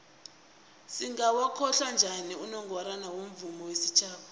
singawokhohla njani unongorwana womvumo wesitjhaba